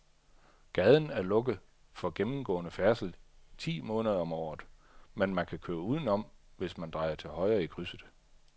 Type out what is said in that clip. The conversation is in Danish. Gaden er lukket for gennemgående færdsel ti måneder om året, men man kan køre udenom, hvis man drejer til højre i krydset.